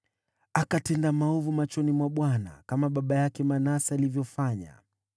Akatenda maovu machoni mwa Bwana , kama baba yake Manase alivyofanya.